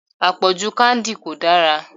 Àpọ̀jù candy kò dára.